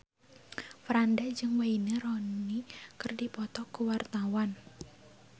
Franda jeung Wayne Rooney keur dipoto ku wartawan